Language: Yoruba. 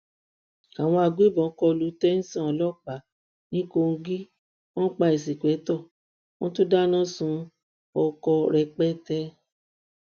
àwọn agbébọn kọlu tésàn ọlọpàá ní kogi wọn pa ìǹṣìpẹkìtọ wọn tún dáná sun ọkọ rẹpẹtẹ